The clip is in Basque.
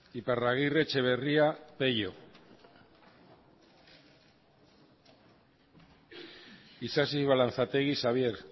iparragirre etxeberria peio isasi balanzategi xabier